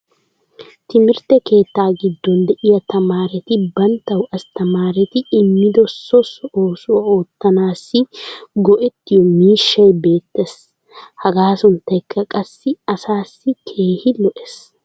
timirtte keettaa giddon diya tamaaretti banttawu asttamaaretti immido so oosuwa oottanaassi go'ettiyo miishshay beetees. hagaa sunttaykka qassi asaassi keehi lo'ees.